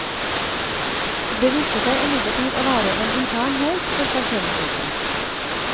Det viste seg imidlertid å være en intern heis for parkeringshuset.